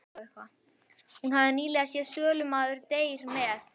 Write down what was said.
Hún hafði nýlega séð Sölumaður deyr með